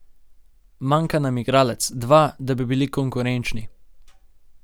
Manjka nam igralec, dva, da bi bili konkurenčni.